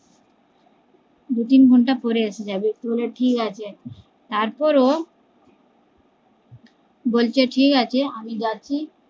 দুতিন ঘন্টা পরে এসে যাবি বলে ঠিকাছে তারপর ও বলছে ঠিকাছে যাচ্ছি